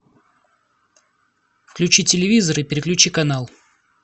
включи телевизор и переключи канал